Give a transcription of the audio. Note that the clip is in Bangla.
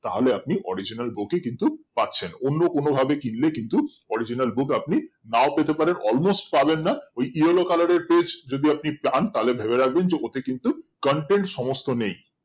তাহলে আপনি original বই টি কিন্তু পাচ্ছেন অন্য কোনো ভাবে কিনলে কিন্তু original book আপনি নাও পেতে পারেন almost পাবেন না ওই yellow colour এর page যদি আপনি তাহলে ভেবে রাখবেন যে ওতে কিন্তু contained কিন্তু সমস্ত নেই